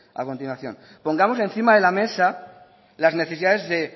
a continuación pongamos encima de la mesa las necesidades de